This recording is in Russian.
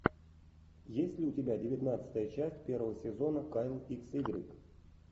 есть ли у тебя девятнадцатая часть первого сезона кайл икс игрек